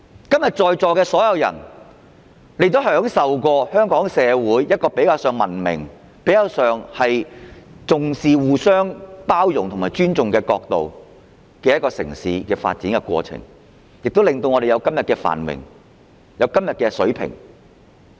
今天在席所有人也曾享受香港社會較文明、重視互相包容和尊重的城市發展過程，令我們可享有今天的繁榮和水平。